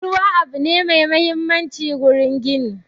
Ruwa abu ne mai mahimmanci wurin gini